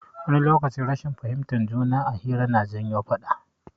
Wani lokaci rashin fahimtar juna a hira na janyo faɗa.